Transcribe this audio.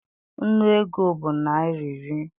Nnu ego bụ naịra iri.